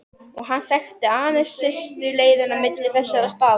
Og hann þekkti aðeins stystu leiðina á milli þessara staða.